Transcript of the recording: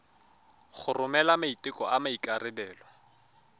go romela maiteko a maikarebelo